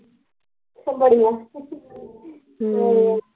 ਬੜੀਆ ਹਮ